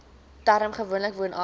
term gewoonlik woonagtig